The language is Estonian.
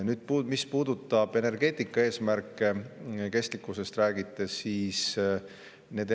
Nüüd, mis puudutab energeetika eesmärke, räägite kestlikkusest.